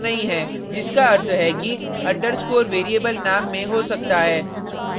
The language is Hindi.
जिसका अर्थ है कि underscore variable name में हो सकता है